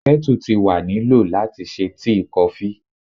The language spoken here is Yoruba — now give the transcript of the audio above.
Kettle ti wa ni lo lati ṣe tii, kofi